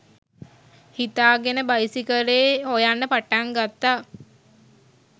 හිතාගෙන බයිසිකලේ හොයන්න පටන් ගත්තා.